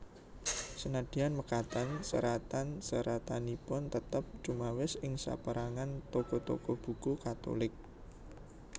Senadyan mekaten seratan seratanipun tetep cumawis ing sapérangan toko toko buku Katulik